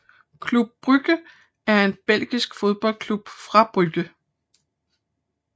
Club Brugge er en belgisk fodboldklub fra Brugge